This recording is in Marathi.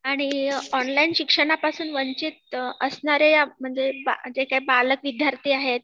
आणि ऑनलाइन शिक्षणापासून वंचित असणाऱ्या या म्हणजे जे काही बालक विद्यार्थी आहेत